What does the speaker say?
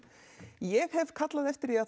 ég hef kallað eftir því að